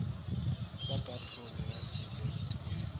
sa kahlolo ya selete ye